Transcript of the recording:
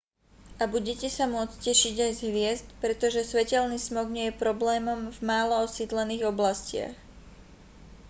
a budete sa môcť tešiť aj z hviezd pretože svetelný smog nie je problémom v málo osídlených oblastiach